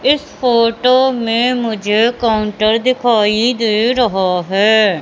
इस फोटो में मुझे काउंटर दिखाइ दे रहा है।